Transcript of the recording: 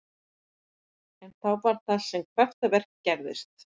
En þá var það sem kraftaverkið gerðist.